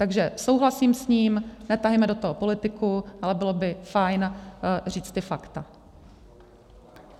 Takže souhlasím s ním, netahejme do toho politiku, ale bylo by fajn říct ta fakta.